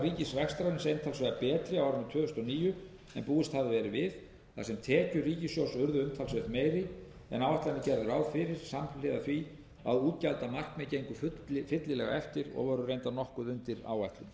ríkisrekstrarins einfaldlega betri á árinu tvö þúsund og níu en búist hafði verið við þar sem tekjur ríkissjóðs urðu umtalsvert meiri en áætlanir gerðu ráð fyrir samhliða því að útgjaldamarkmið gengu fyllilega eftir og voru reyndar nokkuð undir áætlun